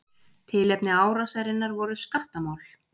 Tilefni árásarinnar voru skattamál.